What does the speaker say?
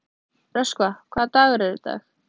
Röskva, hvaða dagur er í dag?